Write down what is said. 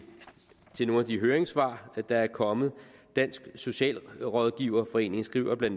til nogle af de høringssvar der er kommet dansk socialrådgiverforening skriver bla